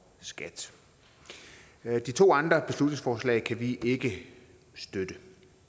skat de to andre beslutningsforslag kan vi ikke støtte